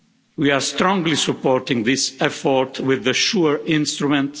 We are strongly supporting this effort with the SURE instrument.